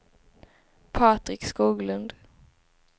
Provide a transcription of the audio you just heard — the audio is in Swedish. Patrik Skoglund